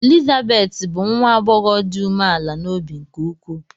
Elizabeth bụ nwa agbọghọ dị umeala n’obi nke ukwuu.